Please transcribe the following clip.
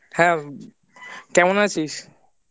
হ্যাঁ কেমন আছিস?